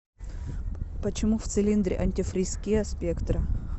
почему в цилиндре антифриз киа спектра